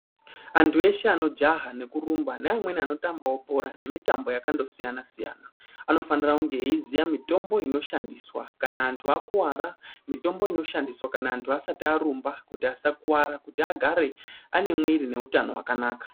Antu eshe anojaha nekurumba neamweni anotambawo bhora nemitambo yakandosiyana-siyana, anofanira kunge eiziya mitombo inoshandiswa kana antu akuwara. Mitombo inoshandiswa kana antu asati arumba kuti asakuwara, kuti agare ane mwiri neutano hwakanaka.